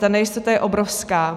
Ta nejistota je obrovská.